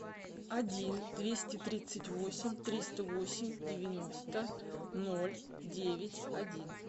один двести тридцать восемь триста восемь девяносто ноль девять один